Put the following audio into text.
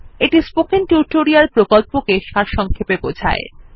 এটি spoken tutorial প্রকল্পটি সারসংক্ষেপে বোঝায়